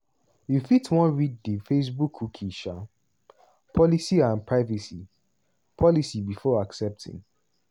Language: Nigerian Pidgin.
you fit wan read di facebookcookie um policyandprivacy policybefore accepting.